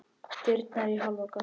Dyrnar í hálfa gátt.